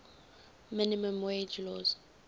minimum wage laws